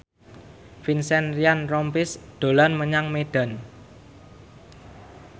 Vincent Ryan Rompies dolan menyang Medan